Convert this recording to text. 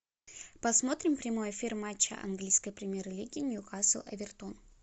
посмотрим прямой эфир матча английской премьер лиги ньюкасл эвертон